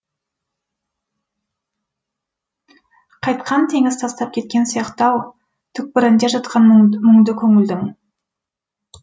қайтқан теңіз тастап кеткен сияқты ау түкпірінде жатқан мұңды көңілдің